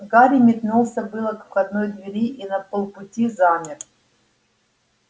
гарри метнулся было к входной двери и на полпути замер